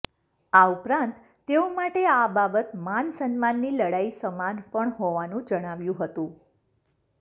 આ ઉપરાંત તેઓ માટે આ બાબત માન સન્માનની લડાઈ સમાન પણ હોવાનું જણાવ્યું હતું